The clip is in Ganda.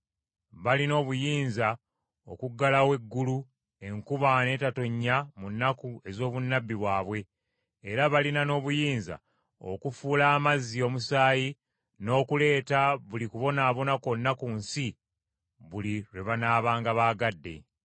Balina obuyinza okuggalawo eggulu enkuba n’etetonnya mu nnaku ez’obunnabbi bwabwe, era balina n’obuyinza okufuula amazzi omusaayi n’okuleeta buli kubonaabona kwonna ku nsi buli lwe banaabanga baagadde.